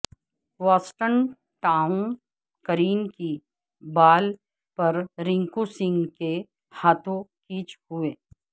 Watson Tom Curran کی بال پر رینکو سنگھ کے ہاتھوں کیچ ہوئے